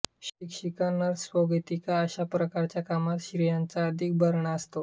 शिक्षिका नर्स स्वागतिका अशा प्रकारच्या कामात स्त्रियांचा अधिक भरणा असतो